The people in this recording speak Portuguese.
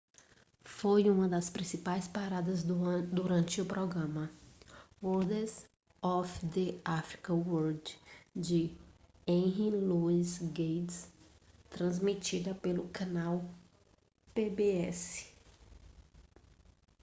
foi uma das principais paradas durante o programa wonders of the african world de henry louis gates transmitida pelo canal pbs